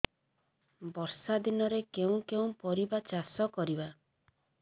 ବର୍ଷା ଦିନରେ କେଉଁ କେଉଁ ପରିବା ଚାଷ କରିବା